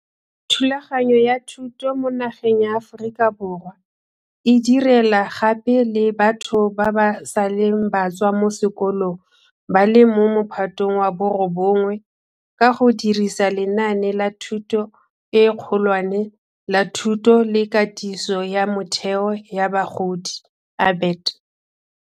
Thulaganyo ya thuto mo nageng ya Aforika Borwa e direla gape le batho ba ba seleng ba tswa mo sekolong ba le mo Mophatong wa bo 9, ka go dirisa lenaane la Thuto e Kgolwane la Thuto le Katiso ya Motheo ya Bagodi ABET.